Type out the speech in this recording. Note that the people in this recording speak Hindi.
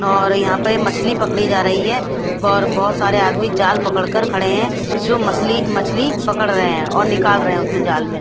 और यहाँ पर मछली पकड़ी जा रही है और बोहोत सारे आदमी जाल पकड़ कर खड़े है जो मसले मछ्ली पकड़ रहे है और निकाल रहे है उसमे जाल में--